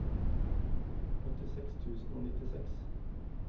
åttiseks tusen og nittiseks